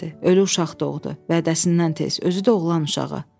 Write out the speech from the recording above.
Ölü uşaq doğdu vədəsinə tez, özü də oğlan uşağı.